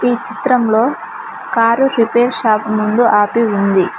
ఈ చిత్రంలో car repair shop ముందు ఆపి ఉంది.